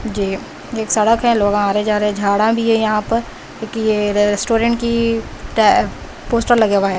ये एक सड़क है लोग आ रहे है जा रहे है झाड़ा भी है यहां पर जो कि ये रेस्टोरेंट की की पोस्टर लगे हुए है।